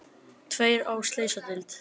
Tveir á slysadeild